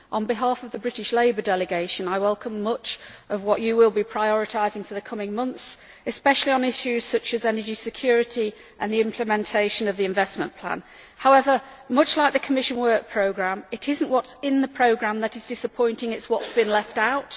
On behalf of the British Labour delegation I welcome much of what you will be prioritising for the coming months, Prime Minister, especially on issues such as energy security and the implementation of the Investment Plan. However, much like the Commission work programme, it is not what is in the programme that is disappointing but what has been left out.